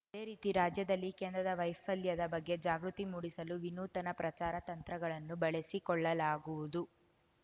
ಅದೇ ರೀತಿ ರಾಜ್ಯದಲ್ಲಿ ಕೇಂದ್ರದ ವೈಫಲ್ಯದ ಬಗ್ಗೆ ಜಾಗೃತಿ ಮೂಡಿಸಲು ವಿನೂತನ ಪ್ರಚಾರ ತಂತ್ರಗಳನ್ನು ಬಳಸಿಕೊಳ್ಳಲಾಗುವುದು